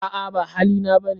A'a ba hali na ba ne.